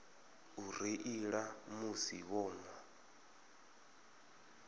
u reila musi vho nwa